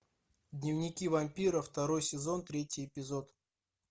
дневники вампира второй сезон третий эпизод